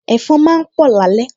Ẹ̀fọn máa ń pọ̀ lálẹ́